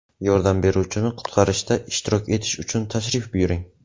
Yordam beruvchini qutqarishda ishtirok etish uchun tashrif buyuring!